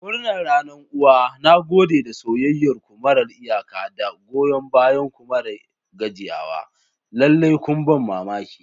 Murnar Ranar Uwa! Na gode da soyayyar ku marar iyaka da goyon bayanku mara gajiyawa. Lallai kun ban mamaki.